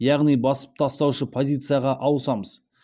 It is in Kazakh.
яғни басып тастаушы позицияға ауысамыз